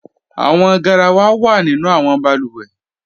Awọn gáràwà wa nínu awọn bàlúwẹ́.